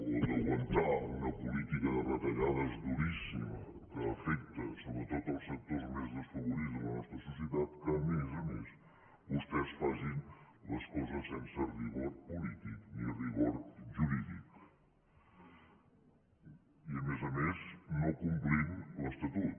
o d’aguantar una política de retallades duríssima que afecta sobretot els sectors més desfavorits de la nostra societat a més a més vostès facin les coses sense rigor polític ni rigor jurídic i a més a més no complint l’estatut